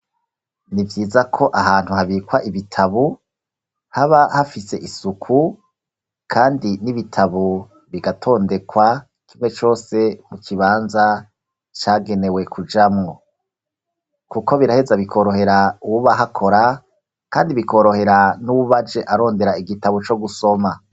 Ni vyiza ko ahantu habikwa ibitabo haba hafise isuku, kandi n'ibitabo bigatondekwa, kimwe cose mu kibanza cagenewe kujamwo. Kuko biraheza bikorohera uwuba ahakora, kandi bikorohera n'uwuba aje arondera igitabo co gusoma.